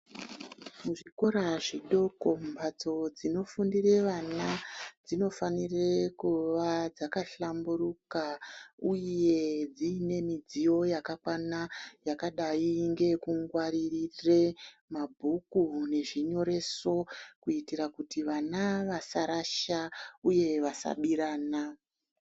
Muzvikora zvidoko mumbatso dzinofundire vana, dzinofanire kuva dzakahlamburuka uye dziine midziyo yakakwana yakadai ngeyekungwaririre mabhuku nezvinyoreso kuitira kuti vana vasarasha uye vasabirana.